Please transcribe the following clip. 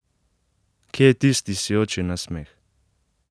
Kje je tisti sijoči nasmeh?